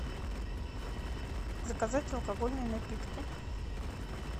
заказать алкогольные напитки